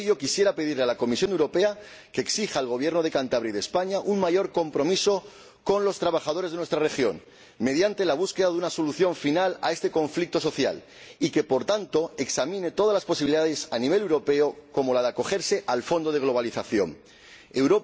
Por ello, quisiera pedirle a la Comisión Europea que exija a los Gobiernos de Cantabria y de España un mayor compromiso con los trabajadores de nuestra región mediante la búsqueda de una solución final a este conflicto social y que, por tanto, examine todas las posibilidades a nivel europeo, como la de acogerse al Fondo Europeo de Adaptación a la Globalización.